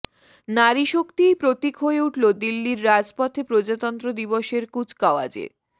নারী শক্তিই প্রতীক হয়ে উঠল দিল্লির রাজপথে প্রজাতন্ত্র দিবসের কুচকাওয়াজে